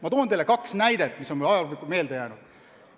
Ma toon teile kaks näidet, mis mul on ajaloost meelde jäänud.